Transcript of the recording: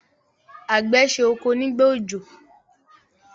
àgbẹ̀ se oko nígbà òjò.